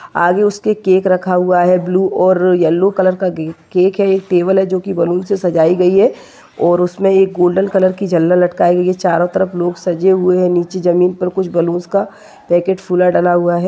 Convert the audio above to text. आगे उसके केक रखा हुआ है ब्लू और येल्लो कलर का केक है टेबल है जो की बलून से सजाई गयी है और उसमे एक गोल्डन कलर की झलर लटकाई गयी है चोरो तरफ लोग सजे हुए है नीचे जमीन पर कुछ बल्लूंस का पैकेट फुला डला हुआ है।